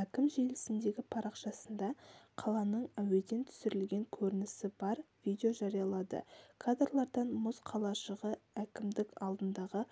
әкім желісіндегі парақшасында қаланың әуеден түсірілген көрінісі бар видео жариялады кадрлардан мұз қалашығы әкімдік алдындағы